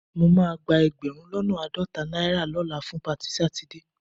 Mo máa gba ẹgbẹ̀rún lọ́nà àádọ́ta náírà lọ́la fún patí Sátidé